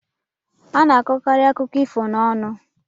A na-akọkarị akụkọ ifo n'ọnụ.